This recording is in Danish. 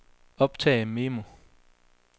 optag memo